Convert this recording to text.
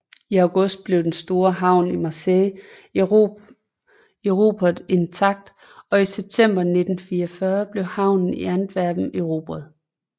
I august blev den store havn i Marseille erobret intakt og i september 1944 blev havnen i Antwerpen erobret